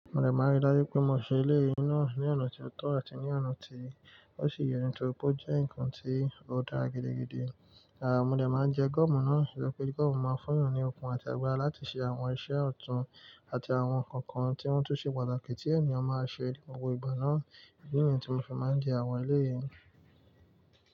Mo dè máa n rí i dajú pé mo ṣe eleyi ní ọ̀nà ti ó tọ́ àti ní ọ̀nà tí ó ṣi ye nitori pé ó jẹ́ nǹkan tí ó dára gidigidi. Mo dè máa n jẹ gọ́ọ̀mù náà, nitori pé gọ́ọ̀mù máa fún yan ni òkun àti agbára láti ṣe àwọn iṣẹ́ ọ̀tún, àti àwọn nǹkan kan tí wọ́n tún ṣe pàtàkì tí ènìyàn máa ṣe ni gbogbo igba náà. Èyí ni í tí mo fi máa ń jẹ àwọn eleyìí.